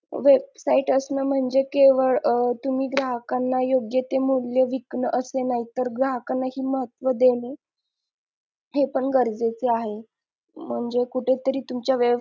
Website असणं म्हणजे केवळ अं तुम्ही ग्राहकांना योग्य ते मूल्य विकन असं नाही तर ग्राहकांना हि महत्व देणे हे पण गरजेचे आहे म्हणजे कुठे तरी तुमच्या